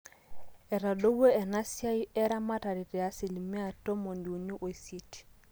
etadowuo inasiaai eramatare te asilimia tomoniuni ooisiet